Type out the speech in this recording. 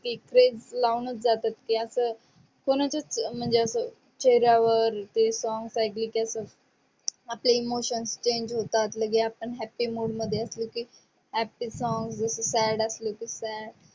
एक वेड लावूनच जातात. की अस कोणाच्यास म्हणजे अस चेहऱ्यावर ते song एकल की आपणे emotion change होतात. लगे आपन happy mood मध्ये असलो की happy song, sad असलो की sad